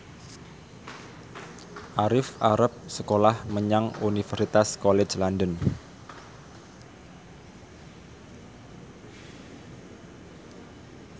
Arif arep sekolah menyang Universitas College London